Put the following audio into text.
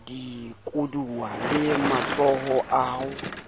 dikoduwa le matsholo a ho